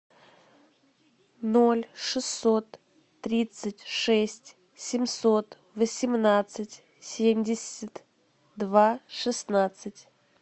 ноль шестьсот тридцать шесть семьсот восемнадцать семьдесят два шестнадцать